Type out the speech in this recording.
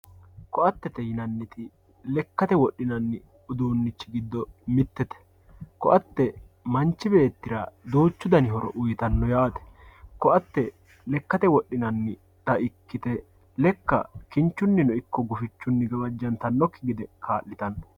Koattete yinaniti lekkate wodhinanni uduunichi gido mitete, koatte manchi beettira duuchu dano horo uuyitanno yaate, koatte lekkatte wodhinanita ikkite lekka kinchunino ikko gufichunni gawajjantanokki gede kaalitanno